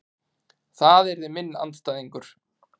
Það yrði minn andstæðingur.